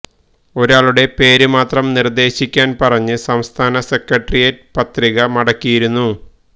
ഒരാളുടെ പേര് മാത്രം നിർദേശിക്കാൻ പറഞ്ഞ് സംസ്ഥാന സെക്രട്ടറിയേറ്റ് പത്രിക മടക്കിയിരുന്നു